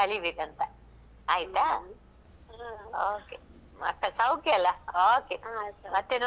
Okay ಮತ್ತೇ ಸೌಖ್ಯ ಅಲ್ಲಾ okay ಮತ್ತೇ ನೋಡ್ವ ಬರ್ತೇನೆ ನಾನು ಮಾತಾಡ್ವ ತುಂಬ ಆಯ್ತಾ.